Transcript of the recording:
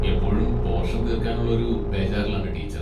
എപ്പോഴും പോർഷൻ തീർക്കാനുള്ള ഒരു ബേജാറിലാണ് ടീച്ചർ.